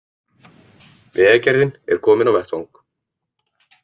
Vegagerðin er komin á vettvang